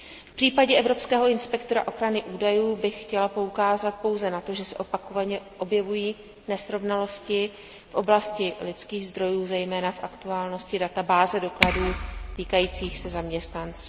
V případě evropského inspektora ochrany údajů bych chtěla poukázat pouze na to, že se opakovaně objevují nesrovnalosti v oblasti lidských zdrojů, zejména v aktuálnosti databáze dokladů týkajících se zaměstnanců.